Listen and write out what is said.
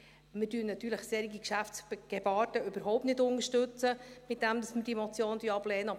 Wir unterstützen natürlich solches Geschäftsgebaren überhaupt nicht, indem wir die Motion ablehnen.